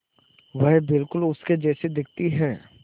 वह बिल्कुल उसके जैसी दिखती है